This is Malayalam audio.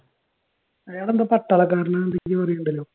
അയാളെന്തോ പട്ടാളക്കാരൻ ആണെന്ന് എന്തൊക്കെയോ പറയുന്നുണ്ടല്ലോ